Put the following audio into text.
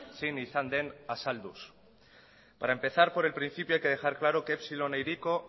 zein izan den azalduz para empezar por el principio hay que dejar claro que epsilon e hiriko